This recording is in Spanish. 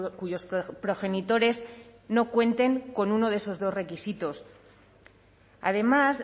cuyos progenitores no cuenten con uno de esos dos requisitos además